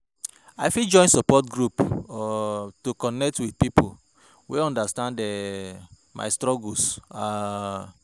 I fit join support groups um to connect with pipo wey understand um my struggles. um